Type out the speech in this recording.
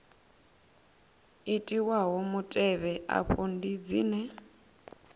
itiwaho mutevhe afha ndi dzine